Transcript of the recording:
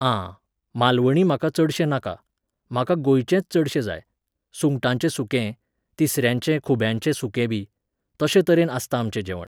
आं, मालवणी म्हाका चडशें नाका. म्हाका गोंयचेंच चडशें जाय. सुंगटांचें सुकें, तिसऱ्यांचें खुब्यांचें सुकेंबी. तशे तरेन आसता आमचें जेवण